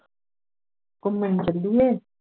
ਘੁੰਮਣ ਚਲੀਏ